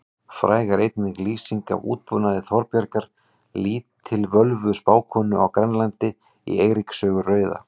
Fræg er einnig lýsing af útbúnaði Þorbjargar lítilvölvu spákonu á Grænlandi í Eiríks sögu rauða.